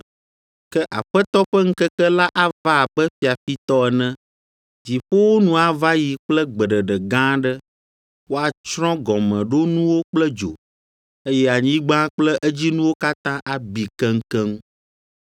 Ke Aƒetɔ ƒe ŋkeke la ava abe fiafitɔ ene. Dziƒowo nu ava yi kple gbeɖeɖe gã aɖe, woatsrɔ̃ gɔmeɖonuwo kple dzo, eye anyigba kple edzinuwo katã abi keŋkeŋ.